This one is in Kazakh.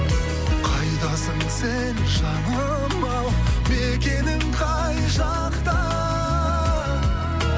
қайдасың сен жаным ау мекенің қай жақта